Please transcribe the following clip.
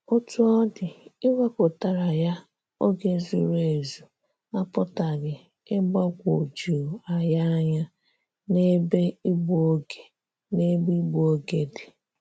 Otú ọ dị, iwepụtara ya oge zuru ezu apụtaghị igbakwoju anyị anya n'ebe ịgbu oge n'ebe ịgbu oge dị.